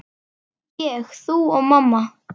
Ég, þú og mamma.